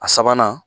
A sabanan